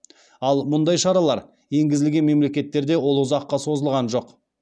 ал мұндай шаралар енгізілген мемлекеттерде ол ұзаққа созылған жоқ